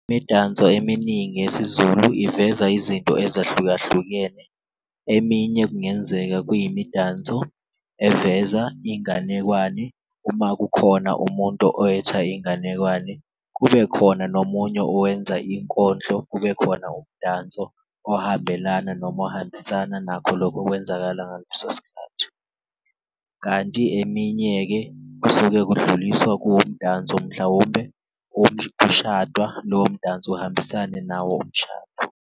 Imidanso eminingi yesiZulu iveza izinto ezahlukahlukene eminye kungenzeka kuyimidanso eveza inganekwane uma kukhona umuntu oyetha inganekwane, kube khona nomunye owenza inkondlo kube khona umdanso ohambelana noma ohambisana nakho lokho okwenzakala ngaleso sikhathi. Kanti eminye-ke kusuke kudluliswa kuwumdanso mhlawumbe kushadwa, lowo mdanso uhambisane nawo umshado.